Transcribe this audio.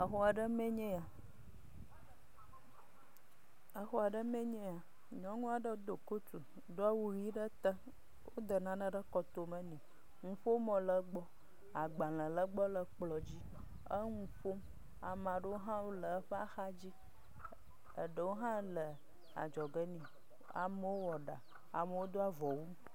Exɔ ɖe me nye ya. Nyɔnua aɖe do kotu doa awu ʋi ɖe te. Wode nane ɖe kɔtome ne. nuƒomɔ le egbɔ, agbalẽ le egbɔ le kplɔ dzi. Eŋu ƒom. Ame aɖewo hã le eƒe ha dzi. Eɖewo hã le adzɔ ge ne. Amewo wɔ ɖa, amewo doa avɔ wu